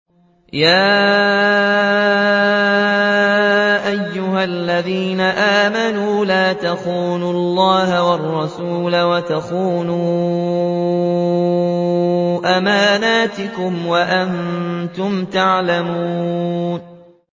يَا أَيُّهَا الَّذِينَ آمَنُوا لَا تَخُونُوا اللَّهَ وَالرَّسُولَ وَتَخُونُوا أَمَانَاتِكُمْ وَأَنتُمْ تَعْلَمُونَ